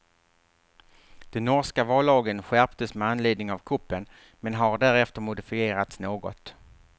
Den norska vallagen skärptes med anledning av kuppen, men har därefter modifierats något.